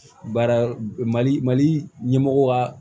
Baara mali mali ɲɛmɔgɔ ka